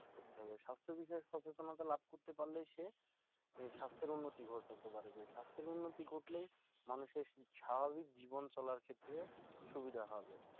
স্বাস্থ্য বিষয়ে সচেতনতা লাভ করতে পারলেই সে স্বাস্থ্যের উন্নতি ঘটাতে পারবে স্বাস্থ্যের উন্নতি ঘটলেই মানুষের স্বাভাবিক জীবন চলার ক্ষেত্রে সুবিধা হবে